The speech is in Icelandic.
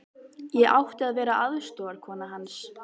Ég átti að vera aðstoðarkona hans.